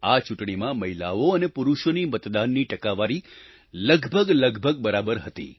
આ ચૂંટણીમાં મહિલાઓ અને પુરુષોની મતદાનની ટકાવારી લગભગલગભગ બરાબર હતી